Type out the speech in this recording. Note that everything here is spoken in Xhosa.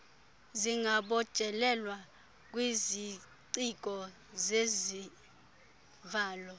zingabotshelelwa kwiziciko zezivalo